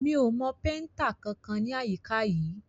Mi ò mọ péntà kankan ní àyíká yìí.